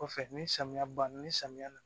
Kɔfɛ ni samiya banna ni samiya na